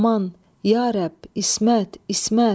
Aman, ya Rəbb, İsmət, İsmət!